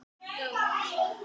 Ég slæ létt í kistuna.